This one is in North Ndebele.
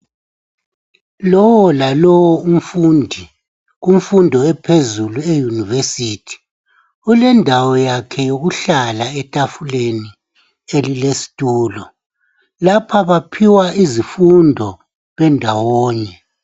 Lowolalowo umfundi kumfundo ephezulu eyunivesithi ulendawo yakhe yokuhlala etafuleni elilesitulo, lapha baphiwa izifundo bendawonye.